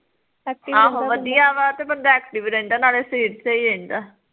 ਆਹੋ ਵਧੀਆ ਵਾਂ ਤੇ ਬੰਦਾ active ਰਹਿੰਦਾ ਨਾਲੇ ਸਰੀਰ ਸਹੀ ਰਹਿੰਦਾ